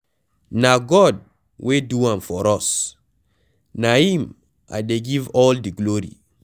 Na God wey do am for us, na him I dey give all the glory.